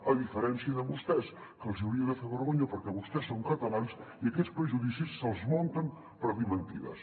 a diferència de vostès que els hi hauria de fer vergonya perquè vostès són catalans i aquests prejudicis se’ls munten per dir mentides